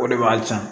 O de b'a san